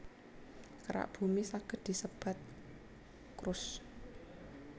Kerak Bumi saged disebat crust